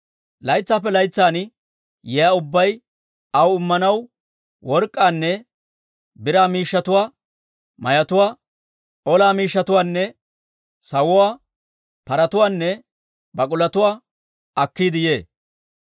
Laytsaappe laytsan yiyaa ubbay aw immanaw work'k'aanne biraa miishshatuwaa, mayotuwaa, ola miishshatuwaanne sawuwaa, paratuwaanne bak'ulotuwaa akkiide yee.